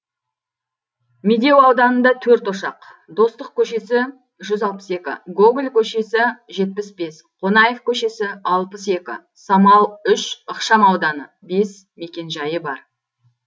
медеу ауданында төрт ошақ достық көшесі жүз алпыс екі гоголь көшесі жетпіс бес қонаев көшесі алпыс екі самал үш ықшамауданы бес мекенжайы бар